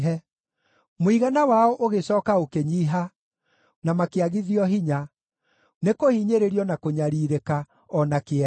Mũigana wao ũgĩcooka ũkĩnyiiha, na makĩagithio hinya, nĩ kũhinyĩrĩrio, na kũnyariirĩka, o na kĩeha;